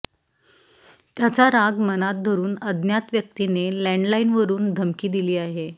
त्याचा राग मनात धरून अज्ञात व्यक्तीने लॅन्डलाईनवरून धमकी दिली आहे